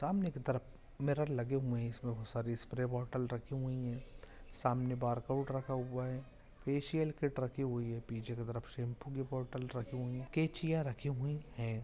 सामने की तरफ मिरर लगे हुई है इसमे बहुत सारी स्प्रे बॉटल रखी हुई है सामने बारकोड रखा हुआ है फेशियल किट राखी हुई है पीछे की तरफ शेम्पू के बॉटल रखी हुई है कैचियाँ रखी हुई है।